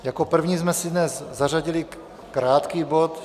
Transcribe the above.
Jako první jsme si dnes zařadili krátký bod